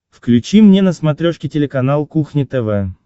включи мне на смотрешке телеканал кухня тв